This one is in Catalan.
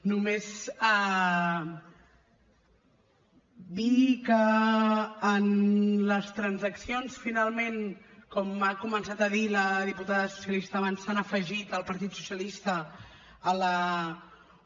només dir que en les transaccions finalment com ha començat a dir la diputada socialista abans s’han afegit el partit socialista a la un